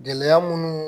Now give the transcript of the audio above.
Gɛlɛya munnu